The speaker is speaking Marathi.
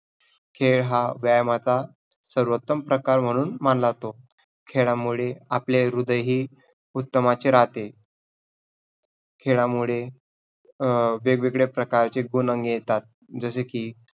खेळ हा व्यायामाचा सर्वोत्तम प्रकार म्हणून मानला जातो. खेळामूळे आपले हृदयही उत्तमाचे राहते. खेळामुळे अं वेग-वेगळ्या प्रकारचे गुण अंगी येतात. जसे की